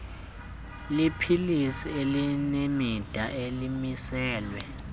leepilisi elinemida elimiselwe